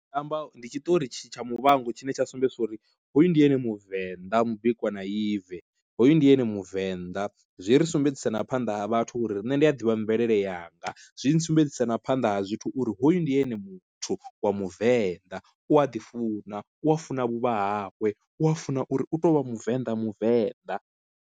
Ndi nga amba ndi tshiṱori tsha muvhango tshine tsha sumbedzisa uri hoyu ndi ene muvenḓa mubikwa na ibve hoyu ndi ene muvenḓa, zwi ri sumbedzisa na phanḓa ha vhathu uri nṋe ndi a ḓivha mvelele yanga zwi nsumbedzisa na phanḓa ha zwithu uri hoyu ndi ene muthu wa muvenḓa u aḓifuna u funa vhuvha hawe u a funa uri u to u vha muvenda muvenḓa,